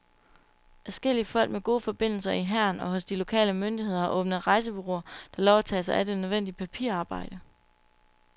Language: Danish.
Adskillige folk med gode forbindelser i hæren og hos de lokale myndigheder har åbnet rejsebureauer, der lover at tage sig af det nødvendige papirarbejde.